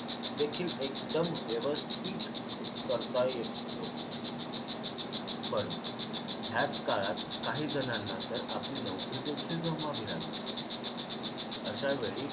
देखील एकदम व्यवस्थित करता येत होते पण ह्याच काळात काही जणांना तर आपली नोकरी देखील गमवावी लागली होती अशावेळी